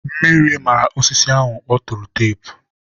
mmiri mara osisi ahụ ọ tụrụ teepu.